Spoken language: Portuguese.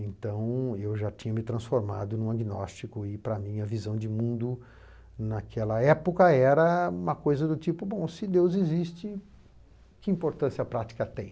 Então, eu já tinha me transformado em um agnóstico e, para mim, a visão de mundo naquela época era uma coisa do tipo, bom, se Deus existe, que importância a prática tem?